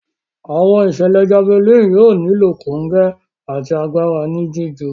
Àwọn ìṣẹlẹ Javelin yóò nilo kongẹ àti àgbàrá ní jiju.